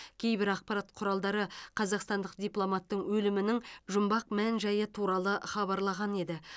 кейбір ақпарат құралдары қазақстандық дипломаттың өлімінің жұмбақ мән жайы туралы хабарлаған еді